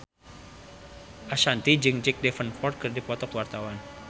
Ashanti jeung Jack Davenport keur dipoto ku wartawan